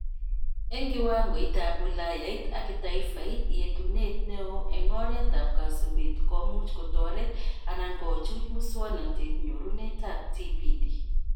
Eng kiwangoitab wilayait ak kitaifait: yetunetab neet neo eng oret ak kasubet komuch kotoret anan kochuch muswonotet-nyorunetab TPD